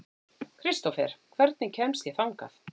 Kristófer, hvernig kemst ég þangað?